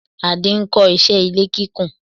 Adé ń kó iṣé ilé kíkún.